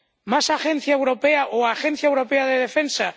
¿Más agencia europea o Agencia Europea de Defensa?